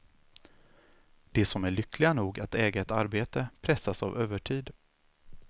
De som är lyckliga nog att äga ett arbete pressas av övertid.